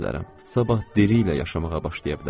Sabah diliylə yaşamağa başlaya bilərəm.